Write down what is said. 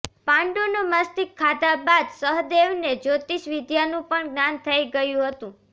પાંડુનું મસ્તિષ્ક ખાધા બાદ સહદેવને જ્યોતિષ વિદ્યાનું પણ જ્ઞાન થઈ ગયું હતું